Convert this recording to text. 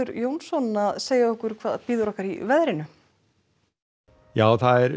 Jónsson að segja okkur hvað bíður okkar í veðrinu já það er